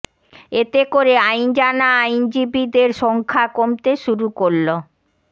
এতে করে আইন জানা আইনজীবীদের সংখ্যা কমতে শুরু করল